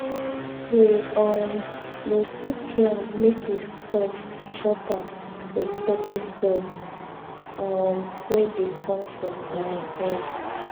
we um go cook yam make e soft chop am with pepper sauce um wey dey come from garden egg